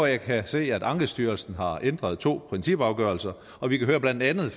jeg kan se at ankestyrelsen har ændret to principafgørelser og vi kan blandt andet